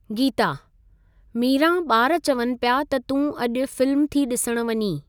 गीता: मीरां बा॒र चवनि पिया त तूं अॼु फिल्म थी डि॒सण वञीं।